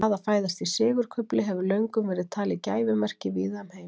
Það að fæðast í sigurkufli hefur löngum verið talið gæfumerki víða um heim.